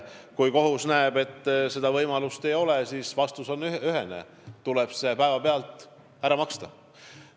Kui kohus näeb, et seda võimalust ei ole, siis vastus on ühene: tuleb see raha päevapealt ära maksta.